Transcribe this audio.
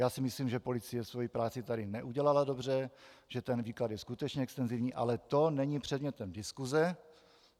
Já si myslím, že policie svoji práci tady neudělala dobře, že ten výklad je skutečně extenzivní, ale to není předmětem diskuse.